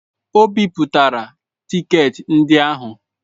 O bipụtala tiketi ndị ahụ.